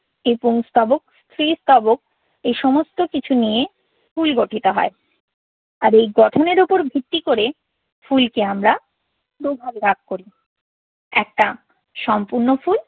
এই পুংস্তবক, স্ত্রীস্তবক এই সমস্ত কিছু নিয়ে ফুল গঠিত হয়। আর এই গঠনের উপর ভিত্তি করে ফুলকে আমরা দুই ভাগে ভাগ করি। একটা সম্পূর্ণ ফুল